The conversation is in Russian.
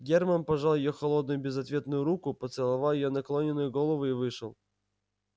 германн пожал её холодную безответную руку поцеловал её наклонённую голову и вышел